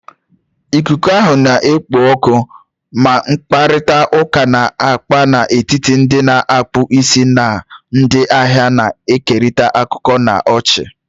Ikuku ahụ na-ekpo ọkụ, na mkparịta ụka na-agba n'etiti ndị na-akpụ isi na ndị ahịa, na-ekerịta akụkọ na ọchị.